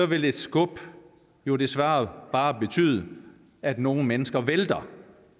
vil et skub jo desværre bare betyde at nogle mennesker vælter